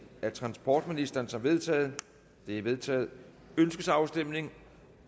af transportministeren som vedtaget det er vedtaget ønskes afstemning